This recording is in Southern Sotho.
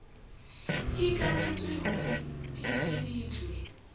e ikanetswe ho e tiiseditswe